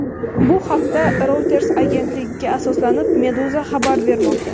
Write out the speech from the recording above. Bu haqda, Reuters agentligiga asoslanib, Meduza xabar bermoqda .